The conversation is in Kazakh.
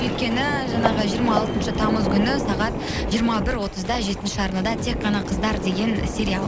өйткені жаңағы жиырма алтыншы тамыз күні сағат жиырма бір отызда жетінші арнада тек қана қыздар деген сериал